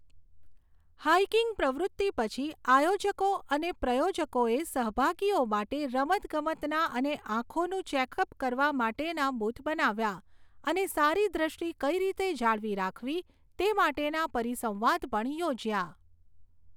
Hiking પ્રવૃત્તિ પછી, આયોજકો અને પ્રયોજકોએ સહભાગીઓ માટે રમતગમતના અને આંખોનું ચેકઅપ કરવા માટેના બૂથ બનાવ્યાં અને સારી દૃષ્ટિ કઈ રીતે જાળવી રાખવી તે માટેના પરિસંવાદ પણ યોજ્યા.